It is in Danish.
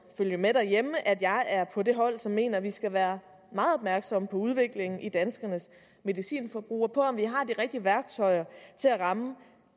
følge med derhjemme at jeg er på det hold som mener at vi skal være meget opmærksomme på udviklingen i danskernes medicinforbrug og på om vi har de rigtige værktøjer til at ramme